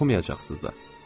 Hətta oxumayacaqsınız da.